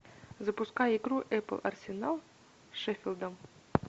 запускай игру эпл арсенал с шеффилдом